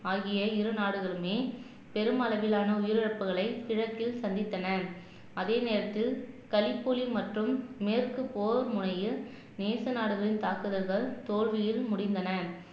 ஆகிய இரு நாடுகளுமே பெரும் அளவிலான உயிரிழப்புகளை கிழக்கில் சந்தித்தன அதே நேரத்தில் களிப்புளி மற்றும் மேற்கு போர் முறையில் நேச நாடுகளின் தாக்குதல்கள் தோல்வியில் முடிந்தன